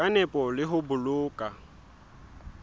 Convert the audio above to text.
ka nepo le ho boloka